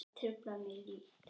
Þau trufla mig lítt.